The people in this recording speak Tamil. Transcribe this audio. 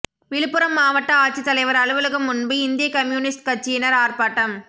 விழுப்புரம் மாவட்ட ஆட்சித்தலைவர் அலுவலகம் முன்பு இந்திய கம்யூனிஸ்ட் கட்சியினர் ஆர்ப்பாட்டம்